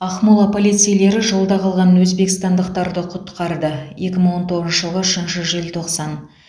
ақмола полицейлері жолда қалған өзбекстандықтарды құтқарды екі мың он тоғызыншы жылғы үшінші желтоқсан